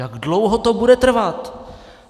Jak dlouho to bude trvat?